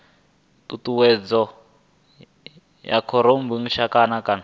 tshutshedzo ya khorotshitumbe kana ha